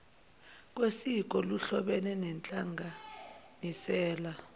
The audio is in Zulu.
kwesiko kuhlobene nenhlanganisela